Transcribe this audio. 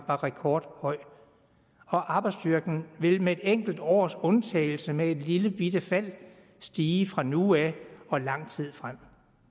var rekordhøj og arbejdsstyrken vil med et enkelt års undtagelse med et lillebitte fald stige fra nu af og lang tid frem